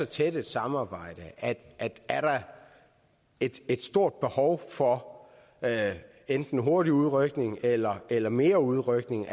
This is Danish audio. tæt samarbejde er der et stort behov for enten hurtig udrykning eller eller mere udrykning